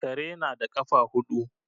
Karena na da ƙafa huɗu.